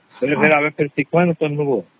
ହଁ ଆମେ ସବୁ ଠିକ ଠକ ଉତ୍ତର ଦବୁ